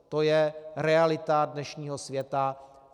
To je realita dnešního světa.